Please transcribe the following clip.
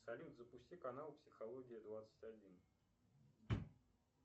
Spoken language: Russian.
салют запусти канал психология двадцать один